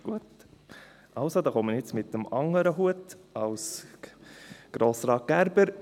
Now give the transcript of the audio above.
Gut, dann komme ich jetzt mit dem anderen Hut, als Grossrat Gerber.